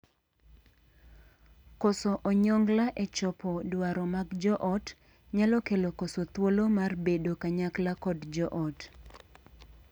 Koso onyongla e chopo dwaro mag joot nyalo kelo koso thuolo mar bedo kanyakla kod joot.